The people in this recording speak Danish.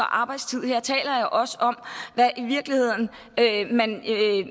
arbejdstid her taler jeg også om hvad man